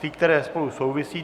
Ty, které spolu souvisí.